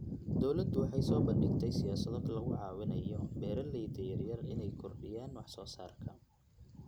Dawladdu waxay soo bandhigtay siyaasado lagu caawinayo beeralayda yaryar inay kordhiyaan wax soo saarka.